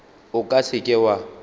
o ka se ke wa